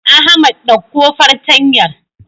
Ahmad ɗauko fartanyar.